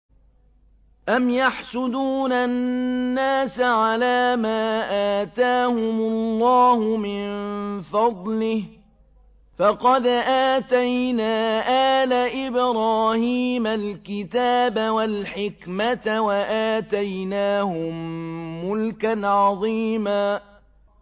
أَمْ يَحْسُدُونَ النَّاسَ عَلَىٰ مَا آتَاهُمُ اللَّهُ مِن فَضْلِهِ ۖ فَقَدْ آتَيْنَا آلَ إِبْرَاهِيمَ الْكِتَابَ وَالْحِكْمَةَ وَآتَيْنَاهُم مُّلْكًا عَظِيمًا